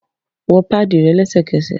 Wọ paadi rẹ lẹsẹkẹsẹ!